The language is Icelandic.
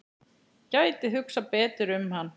Gæti hugsað betur um hann.